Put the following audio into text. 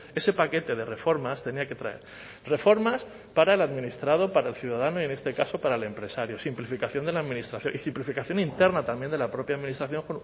ese paquete de reformas tenía que traer reformas para el administrado para el ciudadano y en este caso para el empresario simplificación de la administración y simplificación interna también de la propia administración